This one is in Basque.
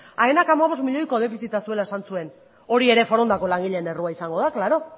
aenak hamabost milioiko defizita zuela esan zuen hori ere forondako langileen errua izango da klaro